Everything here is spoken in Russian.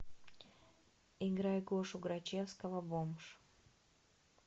играй гошу грачевского бомж